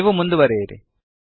ನೀವು ಮುಂದುವರೆಯುವಿರಿ